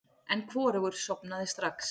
En hvorugur sofnaði strax.